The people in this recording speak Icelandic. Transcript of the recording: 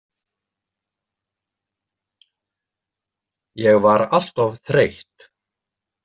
Ég var alltof þreytt.